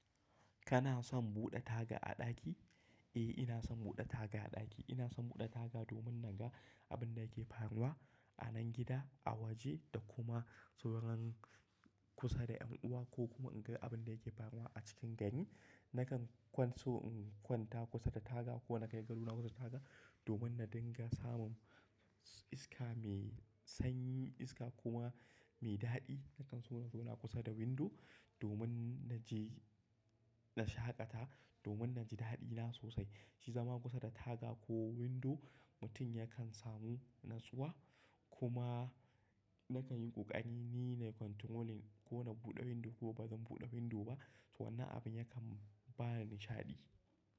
Kana son buɗe taga a ɗaki? Eh, ina son buɗe taga a ɗaki. Ina son buɗe taga domin na ga abin da yake faruwa a nan gida, a waje da kuma sauran kusa da ƴan uwa ko kuma in ga abin da yake faruwa a cikin gari. Nakan kwanso in kwanta kusa da taga ko na kai gado na kusa da taga domin na dinga samun iska mai sanyi, iska kuma mai daɗi. Nakan so na zauna kusa da window domin na je na shaƙata domin na ji daɗina sosai. Shi zama kusa da taga ko window mutum yakan samu natsuwa kuma nakan yi ƙoƙari ni na yi controlling ko na buɗe window ko ba zan buɗe window ba, to wannan abin yakan ba ni nishaɗi.